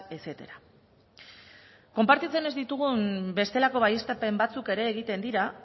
etcétera konpartitzen ez ditugun bestelako baieztapen batzuk ere egiten dira